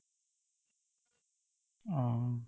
অ